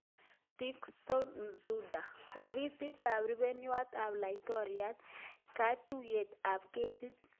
Tixon Nzunda-4Ofisit ab Rupeiywot ap Laitoriat, Katuiyet ap ketik